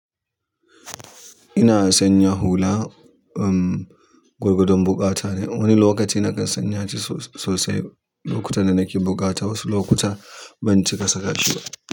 Ina sanya hula, um, gwargwadon buƙata ne. Wani lokaci nakan sanya shi sosai lokutan da nake buƙata, wasu lokuta ban cika sa ka shi ba.